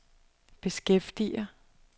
beskæftiger